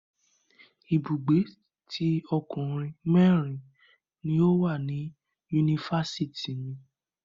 Ibùgbé tí ọkùnrin mẹrin ni o wa ni yunifásítì mi.